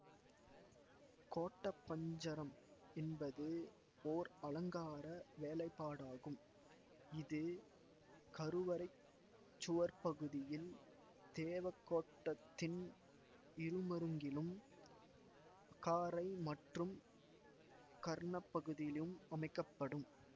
கோட்ட பஞ்சரம் என்பது ஓர் அலங்கார வேலைப்பாடாகும் இது கருவறைச் சுவர்ப்பகுதியில் தேவகோட்டத்தின் இருமருங்கிலும் அகாரை மற்றும் கர்ணப்பகுதிளும் அமைக்க படும்